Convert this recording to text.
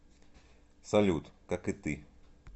салют как и ты